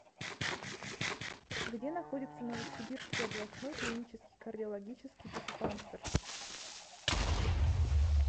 где находится новосибирский областной клинический кардиологический диспансер